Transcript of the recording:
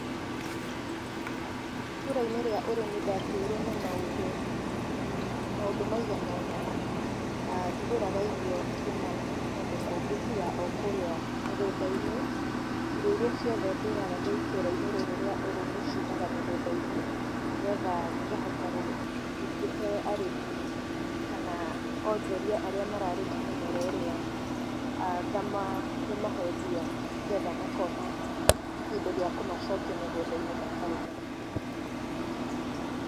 Itũra-inĩ rĩa ũrĩmi ndatuire na maũndũ, maũndũ maganona, ndigũraga irio kumana kũndũ kũngĩ tiga o kũrĩa mĩgũnda-inĩ, irio iria ciothe ndĩaga ndĩ itũra-inĩ rĩrĩa ũrĩmi ciumaga mĩgũnda-inĩ, nĩgetha ngahota gũkĩhe arĩmi kana onjoria arĩa mararĩma mĩmera ĩrĩa, ngamahe mbia nĩgetha makona kĩndũ gĩa kũmacokia mĩgunda-inĩ makarĩme.